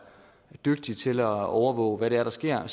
dygtig til at overvåge hvad det er der sker